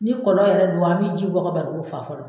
Ni kɔlɔ yɛrɛ do a bɛ ji bɔ ka barigo fa fɔlɔ.